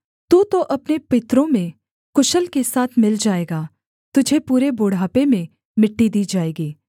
तू तो अपने पितरों में कुशल के साथ मिल जाएगा तुझे पूरे बुढ़ापे में मिट्टी दी जाएगी